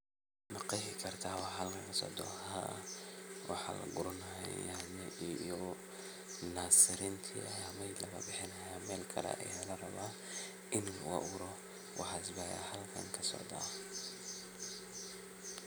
Ma qeexi karta waxa halkan kasocdo, haa waxa lagurani haya nyanya iyo nasirinta aya mesh lagabihini haya, melkale aya larawaa ini laguaburo, waxas aya halkan kasocda.